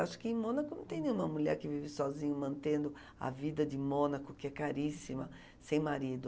Acho que em Mônaco não tem nenhuma mulher que vive sozinha, mantendo a vida de Mônaco, que é caríssima, sem marido.